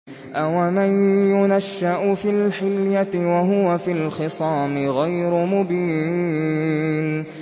أَوَمَن يُنَشَّأُ فِي الْحِلْيَةِ وَهُوَ فِي الْخِصَامِ غَيْرُ مُبِينٍ